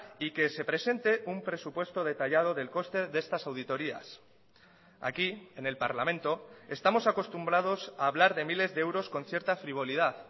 y que se presente un presupuesto detallado del coste de estas auditorías aquí en el parlamento estamos acostumbrados a hablar de miles de euros con cierta frivolidad